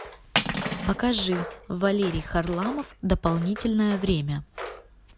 покажи валерий харламов дополнительное время